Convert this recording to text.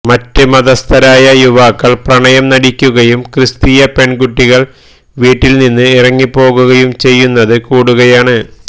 മറ്റ് മതസ്ഥരായ യുവാക്കള് പ്രണയം നടിക്കുകയും ക്രിസ്തീയ പെണ്കുട്ടികള് വീട്ടില്നിന്ന് ഇറങ്ങിപ്പോകുകയും ചെയ്യുന്നത് കൂടുകയാണ്